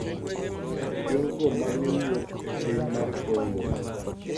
Jogo ma ne wuok e piny mar Congo,